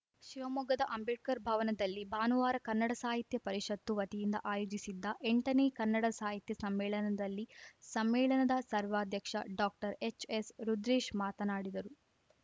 ಶಿವಮೊಗ್ಗದ ಅಂಬೇಡ್ಕರ್‌ ಭವನದಲ್ಲಿ ಭಾನುವಾರ ಕನ್ನಡ ಸಾಹಿತ್ಯ ಪರಿಷತ್ತು ವತಿಯಿಂದ ಆಯೋಜಿಸಿದ್ದ ಎಂಟನೇ ಕನ್ನಡ ಸಾಹಿತ್ಯ ಸಮ್ಮೇಳನದಲ್ಲಿ ಸಮ್ಮೇಳನದ ಸರ್ವಾಧ್ಯಕ್ಷ ಡಾಕ್ಟರ್ ಎಚ್‌ಎಸ್‌ ರುದ್ರೇಶ್‌ ಮಾತನಾಡಿದರು